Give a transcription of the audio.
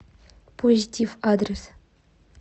позитив адрес